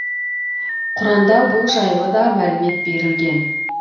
құранда бұл жайлыда мәлімет берілген